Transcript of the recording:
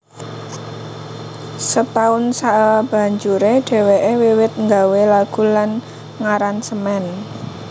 Setahun sabanjuré dhèwèké wiwit nggawé lagu lan ngaransemen